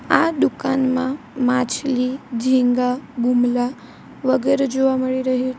આ દુકાનમાં માછલી ઝીંગા બુમલા વગેરે જોવા મળી રહ્યુ છે --